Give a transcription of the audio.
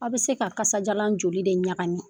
Aw bi se ka kasajalan joli de ɲagami?